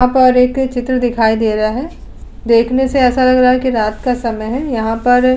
यहाँ पर एक चित्र दिखाई दे रहा है देखने से ऐसा लग रहा है कि रात का समय है। यहाँ पर --